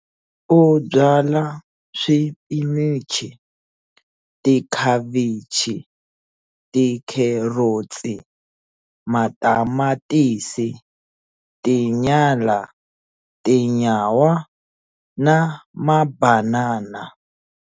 U byala swipinichi, tikhavichi, tikherotsi, matamatisi, tinyala, tinyawa na mabanana.